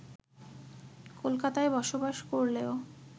কলকাতায় বসবাস করলেও